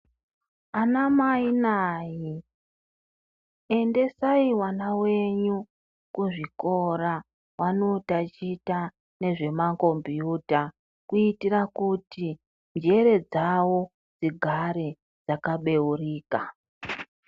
Ana mai naa ere endesai vana venyu kuchikora vanotichwa nezvemakombiyuta kuitira kuti njere dzavo dzigare dzkabeurika .